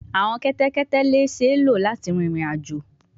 Awọn kẹtẹkẹtẹ le ṣee lo lati rin irin-ajo